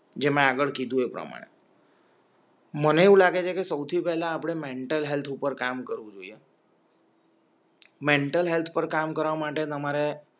જે મે આગળ કીધું એ પ્રમાણે મને એવું લાગે છે કે સૌથી પહેલાં આપણે મેન્ટલ હેલ્થ ઉપર કામ કરવું જોઈએ મેન્ટલ હેલ્થ પર કામ કરવા માટે તમારે